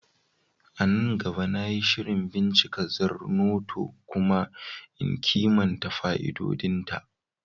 A nan gaba, na yi shirin bincika Zornoto kuma in kimanta fa'idodinta.